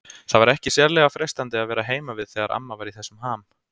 Það var ekki sérlega freistandi að vera heima við þegar amma var í þessum ham.